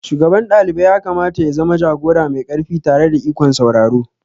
Shugaban dalibai yakamata ya zama jagora mai ƙarfi tare da ikon sauraro.